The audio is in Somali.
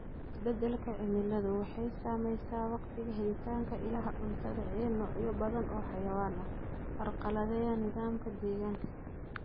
Isbeddelka cimiladu waxay saamaysaa wakhtiga iyo helitaanka ilaha cuntada ee noocyo badan oo xayawaan ah, carqaladeeya nidaamka deegaanka.